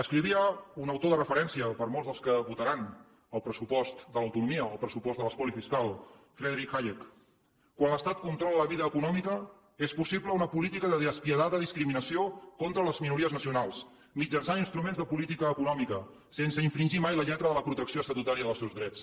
escrivia un autor de referència per a molts dels que votaran el pressupost de l’autonomia o el pressupost de l’espoli fiscal friedrich hayek quan l’estat controla la vida econòmica és possible una política de despietada discriminació contra les minories nacionals mitjançant instruments de política econòmica sense infringir mai la lletra de la protecció estatutària dels seus drets